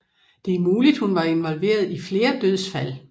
Det er muligt at hun var involveret i flere dødsfald